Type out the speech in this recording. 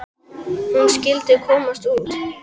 Hún skyldi komast út!